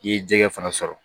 I ye jɛgɛ fana sɔrɔ